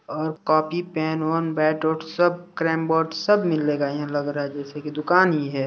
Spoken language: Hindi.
और copy pen one bat ball सब कैरम बोर्ड सब मिलेगा यहाँ लग रहा है जैसे कि दुकान ही है।